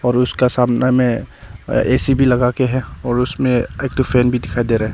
और उसका सामना में ए_सी भी लगा के है और उसमें एक ठो फैन भी दिखाई दे रहा है।